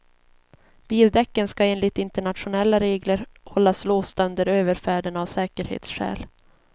Bildäcken ska enligt internationella regler hållas låsta under överfärden av säkerhetsskäl.